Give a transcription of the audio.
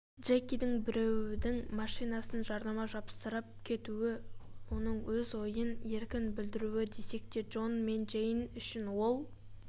джекидің біреудің машинасына жарнама жапсырып кетуі оның өз ойын еркін білдіруі десек те джон мен джейн үшін ол